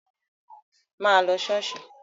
Má lọ ṣọ́ọ̀ṣì!